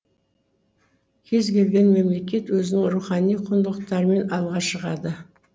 кез келген мемлекет өзінің рухани құндылықтарымен алға шығады